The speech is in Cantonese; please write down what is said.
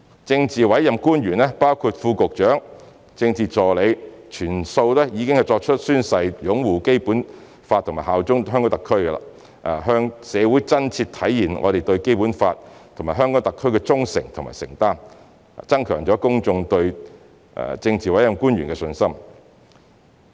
政治委任官員，包括副局長、政治助理，全數已宣誓擁護《基本法》和效忠香港特區，向社會真切體現我們對《基本法》和香港特區的忠誠和承擔，增強公眾對政治委任官員的信心。